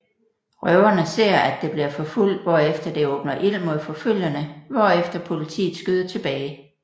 Røverne ser at det bliver forfulgt hvorefter det åbner ild mod forfølgerne hvorefter politiet skyder tilbage